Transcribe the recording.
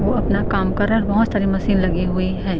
वो अपना काम कर रहा और बोहत सारी मशीन लगी हुई है।